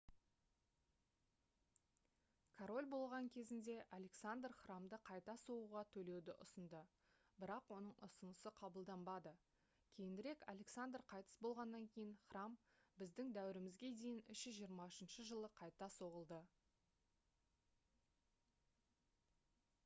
король болған кезінде александр храмды қайта соғуға төлеуді ұсынды бірақ оның ұсынысы қабылданбады кейінірек александр қайтыс болғаннан кейін храм б.д.д. 323 жылы қайта соғылды